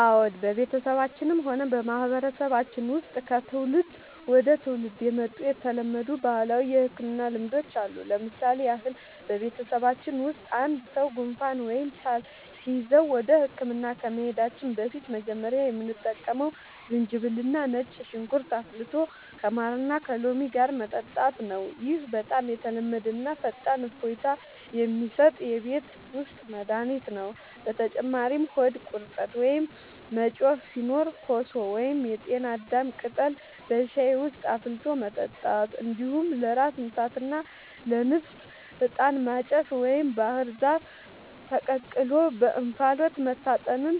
አዎ፣ በቤተሰባችንም ሆነ በማህበረሰባችን ውስጥ ከትውልድ ወደ ትውልድ የመጡ የተለመዱ ባህላዊ የሕክምና ልማዶች አሉ። ለምሳሌ ያህል፣ በቤተሰባችን ውስጥ አንድ ሰው ጉንፋን ወይም ሳል ሲይዘው ወደ ሕክምና ከመሄዳችን በፊት መጀመሪያ የምንጠቀመው ዝንጅብልና ነጭ ሽንኩርት አፍልቶ ከማርና ከሎሚ ጋር መጠጣት ነው። ይህ በጣም የተለመደና ፈጣን እፎይታ የሚሰጥ የቤት ውስጥ መድኃኒት ነው። በተጨማሪም ሆድ ቁርጠት ወይም መጮህ ሲኖር ኮሶ ወይም የጤና አዳም ቅጠል በሻይ ውስጥ አፍልቶ መጠጣት፣ እንዲሁም ለራስ ምታትና ለንፍጥ «ዕጣን ማጨስ» ወይም ባህር ዛፍ ተቀቅሎ በእንፋሎት መታጠንን